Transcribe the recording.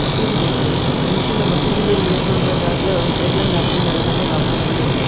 మాసిద్ధూ gate లు మనుషులు మసీదులో వేలేటువంటి దారిలో ఈ గెట్ లని దాటుకుంటూ వెళ్ళగానే లోపల నీళ్ళు ఉంటాయి.